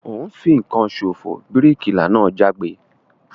O n fìkan sofo! bíríkìlà náà jágbe